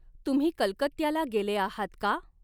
तुम्ही कलकत्त्याला गॆलॆ आहात का?